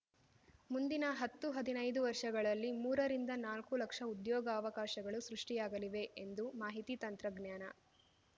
ಮುಂದಿನ ಹತ್ತುಹದಿನೈದು ವರ್ಷಗಳಲ್ಲಿ ಮೂರ ರಿಂದ ನಾಲ್ಕು ಲಕ್ಷ ಉದ್ಯೋಗಾವಕಾಶಗಳು ಸೃಷ್ಠಿಯಾಗಲಿವೆ ಎಂದು ಮಾಹಿತಿ ತಂತ್ರಜ್ಞಾನ